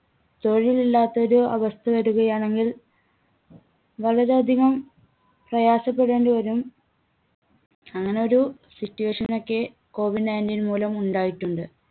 തൊഴിൽ ഇല്ലാത്ത ഒരു അവസ്ഥ വരുകയാണെങ്കിൽ വളരെയധികം പ്രയാസപ്പെടേണ്ടി വരും. അങ്ങനെ ഒരു situation ഒക്കെ കോവിഡ് nineteen മൂലം ഉണ്ടായിട്ടുണ്ട്